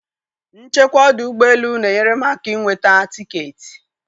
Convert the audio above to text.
nchekwa ọdụ ụgbọ elu na-enyere m aka inweta tiketi